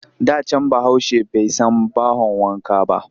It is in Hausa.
Da can Bahaushe bai san bahon wanka ba